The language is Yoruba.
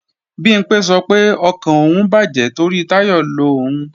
Bimpé sọ pé ọkàn òun bàjẹ́ torí Táyọ̀ lo òun